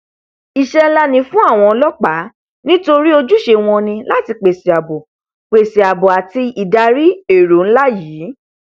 iṣẹ nlá ni fún àwọn ọlọpàá nítorí ojúṣe wọn ni láti pèsè àbò pèsè àbò àti ìdarí èrò nlá yìí